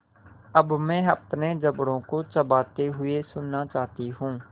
अब मैं अपने जबड़ों को चबाते हुए सुनना चाहती हूँ